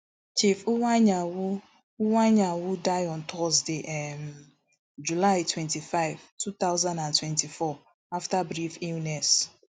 um chief iwuanyanwu iwuanyanwu die on thursday um july twenty-five two thousand and twenty-four afta brief illness